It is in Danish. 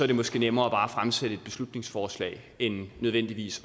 det måske nemmere bare at fremsætte et beslutningsforslag end nødvendigvis